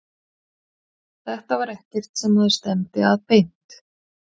Þetta var ekkert sem maður stefndi að beint.